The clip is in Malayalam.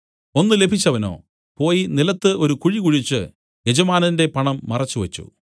ഒന്ന് ലഭിച്ചവനോ പോയി നിലത്തു ഒരു കുഴി കുഴിച്ച് യജമാനന്റെ പണം മറച്ചുവച്ചു